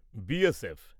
B S F